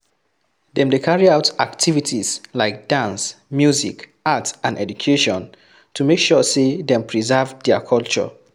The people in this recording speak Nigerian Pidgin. Dem de carry out activities like dance music art and education to make sure say them preserve thier culture